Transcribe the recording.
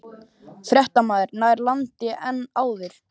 Fréttamaður: Nær landi en áður?